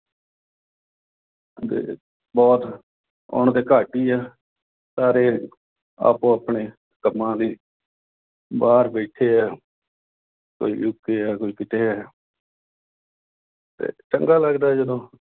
ਬਹੁਤ ਆਉਣਾ ਤਾਂ ਘੱਟ ਹੀ ਆ। ਸਾਰੇ ਆਪੋ-ਆਪਣੇ ਕੰਮਾਂ ਲਈ ਬਾਹਰ ਬੈਠੇ ਆ। ਕੋਈ ਯੂ. ਕੇ. ਆ, ਕੋਈ ਕਿਤੇ ਆ ਤੇ ਚੰਗਾ ਲਗਦਾ ਜਦੋਂ